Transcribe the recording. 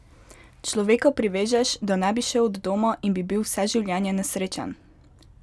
Človeka privežeš, da ne bi šel od doma in bi bil vse življenje nesrečen?